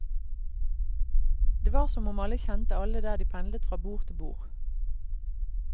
Det var som om alle kjente alle der de pendlet fra bord til bord.